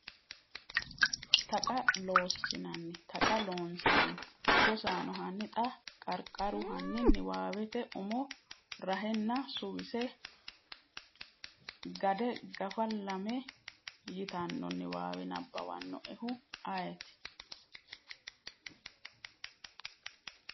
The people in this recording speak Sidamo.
Taqa Loossinanni Taqa Loonseemmo Rosaano, hanni xa “Qarqaru Hanni niwaawete umo rahenna suwise Gade gafa lame” yitanno niwaawe nabbawannoehu ayeeti?